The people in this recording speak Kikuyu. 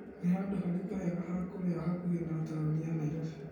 Nĩ handũ harĩku hega ha kũrĩa hakuhĩ na taũni ya Naĩrobĩ ?